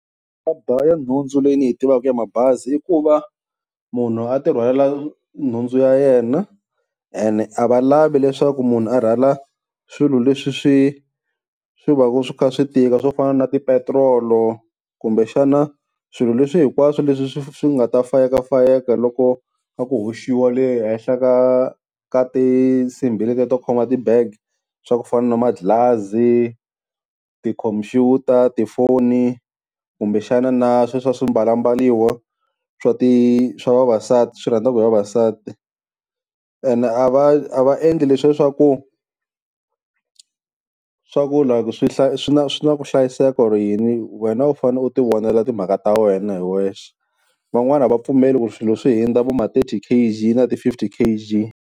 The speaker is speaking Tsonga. ya nhundzu leyi ni yi tivaka ya mabazi i ku va munhu a ti rhwalela nhundzu ya yena. Ene a va lavi leswaku munhu a rhwala swilo leswi swi swi va swi kha swi tika, swo fana na tipetiroli kumbexana swilo leswi hinkwaswo leswi swi nga ta fayekafayeka loko kha ku hoxiwa le henhla ka ka tinsimbhi leti to khoma ti-bag swa ku fana na manghilazi ti-computer, tifoni kumbexana na swe swa swimbalambaliwa swa ti swa vavasati swi rhandziwaka hi vavasati. Ene a va a va endli leswiya swa ku, swa ku like swi na, swi na ku hlayiseka or yini wena u fanele u ti vonela timhaka ta wena hi wexe. Van'wani a va pfumeli ku swilo swi hinda vo ma-thirty K_G na ti-fifty K_G.